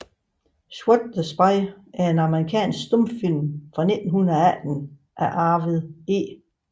Swat the Spy er en amerikansk stumfilm fra 1918 af Arvid E